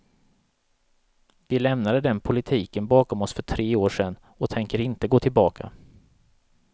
Vi lämnade den politiken bakom oss för tre år sedan och tänker inte gå tillbaka.